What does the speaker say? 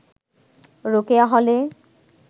রোকেয়া হলে